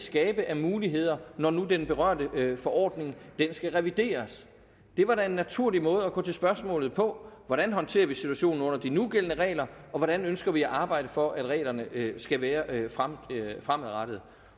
skabe af muligheder når nu den berørte forordning skal revideres det var da en naturlig måde at gå til spørgsmålet på hvordan håndterer vi situationen under de nugældende regler og hvordan ønsker vi at arbejde for at reglerne skal være fremadrettet